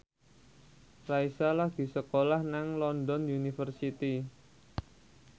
Raisa lagi sekolah nang London University